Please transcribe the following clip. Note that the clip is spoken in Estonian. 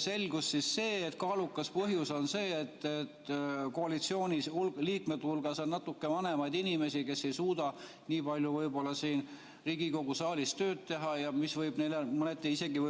Selgus, et kaalukas põhjus on see, et koalitsiooniliikmete hulgas on natuke vanemaid inimesi, kes ei suuda nii palju võib-olla siin Riigikogu saalis tööd teha, mis võib mõneti isegi